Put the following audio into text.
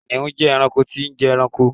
kìnìún je ẹranko tí n je ẹranko